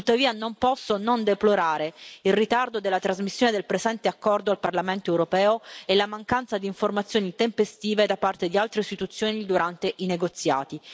Tuttavia, non posso non deplorare il ritardo della trasmissione del presente accordo al Parlamento europeo e la mancanza di informazioni tempestive da parte di altre istituzioni durante i negoziati.